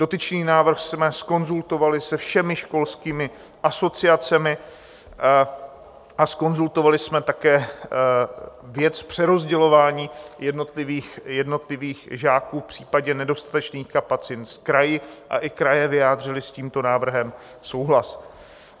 Dotyčný návrh jsme zkonzultovali se všemi školskými asociacemi a zkonzultovali jsme také věc přerozdělování jednotlivých žáků v případě nedostatečných kapacit s kraji a i kraje vyjádřily s tímto návrhem souhlas.